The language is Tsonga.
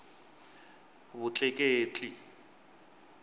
vutleketli